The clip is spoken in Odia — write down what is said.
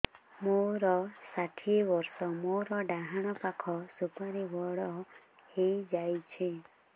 ମୋର ଷାଠିଏ ବର୍ଷ ମୋର ଡାହାଣ ପାଖ ସୁପାରୀ ବଡ ହୈ ଯାଇଛ